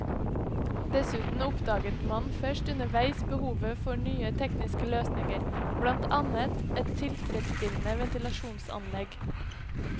Dessuten oppdaget man først underveis behovet for nye tekniske løsninger, blant annet et tilfredsstillende ventilasjonsanlegg.